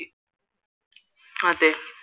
അതേ